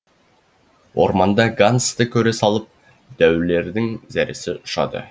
орманда гансты көре салып дәулердің зәресі ұшады